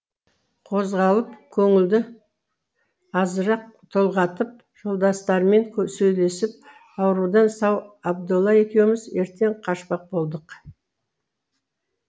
қозғалып көңілді азырақ толғатып жолдастармен сөйлесіп аурудан сау абдолла екеуміз ертең қашпақ болдық